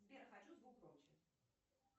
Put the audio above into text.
сбер хочу звук громче